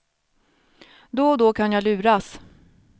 Då och då kan jag luras.